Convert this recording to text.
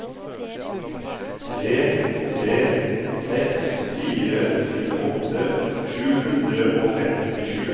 tre tre seks fire tjueåtte sju hundre og femtisju